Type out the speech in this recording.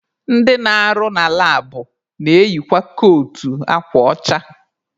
Ndị na-arụ na labụ na-eyikwa kootu akwa ọcha.